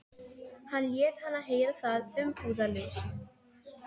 Hann lét hana heyra það umbúðalaust.